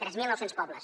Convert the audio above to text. tres mil nou cents pobles